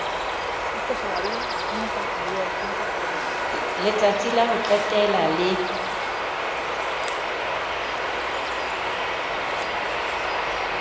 letsatsi la ho qetela le